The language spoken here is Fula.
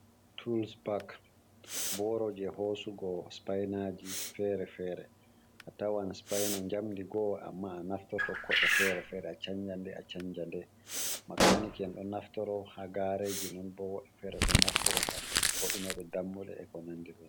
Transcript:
Tools pak boro je hosugo spinaji fere fere atawan spina jamdi go'o amma a naftorto ko'e fere fere acanja nde asanja nde makaniki en ɗo naftira ha gareji non bo woɓɓe fere ɗo naftoro ngam woitinoɓe dammuɗe e konandi be non.